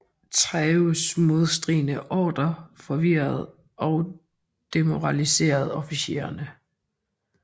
Thieus modstridende ordrer forvirrede og demoraliserede officererne